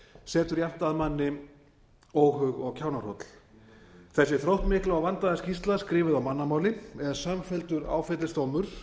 setur jafnt að manni óhug og kjánahroll þessi þróttmikla og vandaða skýrsla skrifuð á mannamáli er samfelldur áfellisdómur